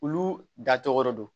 Olu da tɔgɔ don